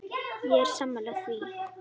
Ég er sammála því.